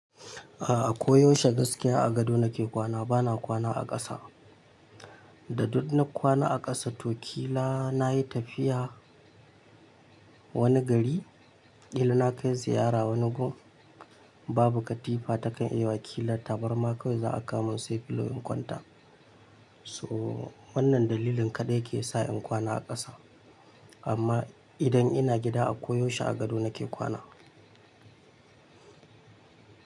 A'a ko yaushe gaskiya a gado nake kwana, bana kwana a ƙasa. Da duk na kwana a ƙasa to kila nayi tafiya wani gari, ƙila nakai ziyara wani gun, babu katifa takan yi wa ƙila tabarma kawai za'a kamo sai filo in kwanta. So wannan dalilin kaɗai ke sa in kwana a ƙasa. Amma idan ina gida a koyaushe a gado nake kwana.